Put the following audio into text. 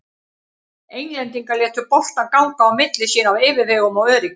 Englendingar létu boltann ganga á milli sín af yfirvegun og öryggi.